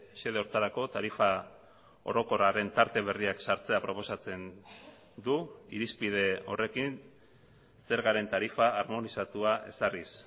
xede horretarako tarifa orokorraren tarte berriak sartzea proposatzen du irizpide horrekin zergaren tarifa armonizatua ezarriz